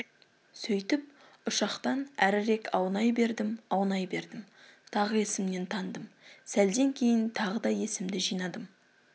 сөйтіп ұшақтан әрірек аунай бердім аунай бердім тағы есімнен тандым сәлден кейін тағы да есімді жинадым